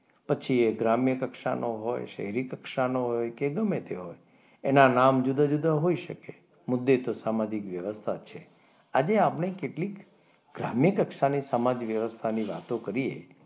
પછી એ ગ્રામ્ય કક્ષાનો હોય શહેરી કક્ષાનો હોય કે ગમે તે હોય એના નામ જુદા જુદા હોઈ શકે મુદ્દે તો સામાજિક વ્યવસ્થા જ છે આજે આપણે કેટલીક ગ્રામ્ય કક્ષાની સમાજ વ્યવસ્થા ની વાતો કરીએ,